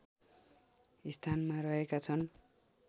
स्थानमा रहेका छन्